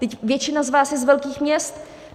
Vždyť většina z vás je z velkých měst.